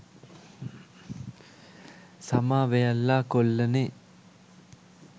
සමා වෙයල්ලා කොල්ලනේ